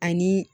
Ani